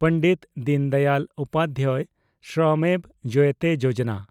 Pandit Deendayal Upadhyay Shramev Jayate Yojana